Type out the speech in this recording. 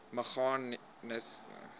meganisme bied waardeur